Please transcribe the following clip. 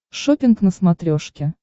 шоппинг на смотрешке